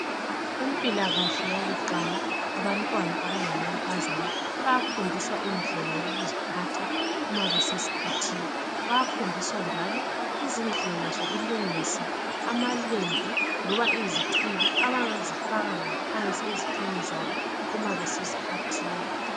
Kumpilakahle yokuqala, abantwana abangamankazana bayafundiswa indela yokuziphatha uma beseskhathini. Bayafundiswa njalo izindlela zokulungisa amalembu loba izichibi abangazifaka ngaphansi ezithweni zabo uma beseskhathini.